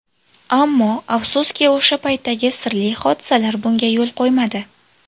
Ammo afsuski, o‘sha paytdagi sirli hodisalar bunga yo‘l qo‘ymadi.